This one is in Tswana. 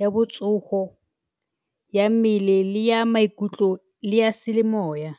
ya botsogo ya mmele le ya maikutlo le ya semoya.